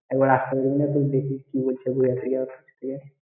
একবার আসতে বলছে কিনা দেখি কি বলছে, ঘুরে আসি গিয়ে।